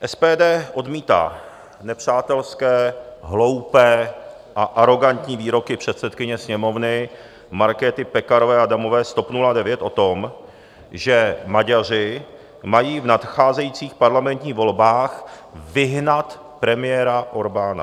SPD odmítá nepřátelské, hloupé a arogantní výroky předsedkyně Sněmovny Markéty Pekarové Adamové z TOP 09 o tom, že Maďaři mají v nadcházejících parlamentních volbách vyhnat premiéra Orbána.